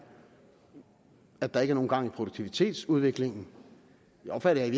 at der ikke er nogen gang i produktivitetsudviklingen det opfatter i